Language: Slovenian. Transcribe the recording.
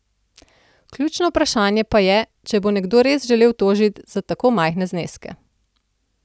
Ključno vprašanje pa je, če bo nekdo res šel tožit za tako majhne zneske.